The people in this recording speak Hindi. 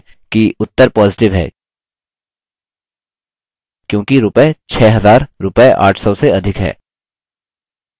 ध्यान दें कि उत्तर positive है क्योंकि रूपये 6000 रूपये 800 से अधिक हैं